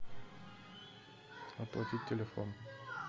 оплатить телефон